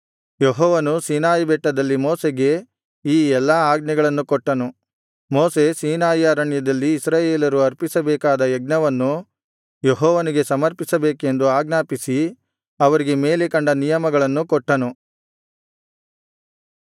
ಯೆಹೋವನು ಸೀನಾಯಿ ಬೆಟ್ಟದಲ್ಲಿ ಮೋಶೆಗೆ ಈ ಎಲ್ಲಾ ಆಜ್ಞೆಗಳನ್ನು ಕೊಟ್ಟನು ಮೋಶೆ ಸೀನಾಯಿ ಅರಣ್ಯದಲ್ಲಿ ಇಸ್ರಾಯೇಲರು ಅರ್ಪಿಸಬೇಕಾದ ಯಜ್ಞವನ್ನು ಯೆಹೋವನಿಗೆ ಸಮರ್ಪಿಸಬೇಕೆಂದು ಆಜ್ಞಾಪಿಸಿ ಅವರಿಗೆ ಮೇಲೆ ಕಂಡ ನಿಯಮಗಳನ್ನು ಕೊಟ್ಟನು